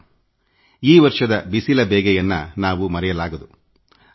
ಬಹುಶಃ ಈ ವರ್ಷದ ಬಿಸಿಲ ಬೇಗೆಯನ್ನು ಮರೆಯಲು ಸಾಧ್ಯವೇ ಇಲ್ಲ